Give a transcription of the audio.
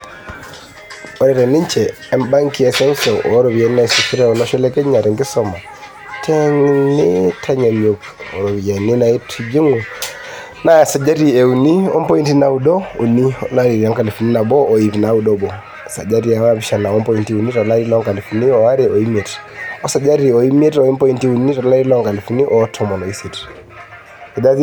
Ore teninje e benki e seuseu, ore iropiyiani naasishore olosho le Kenya tenkisuma tenintanyanyuk o ropiyiani naitijingu naa esajati e uni o mpointi naudo uni to larii lenkalifu nabo o iip nauod obo, esajati e naapishana o mpointi uni to larii loonkalifuni are o imiet o esajati e imiet o mpointi uni to lari loonkalifuni are o tomon o isiet.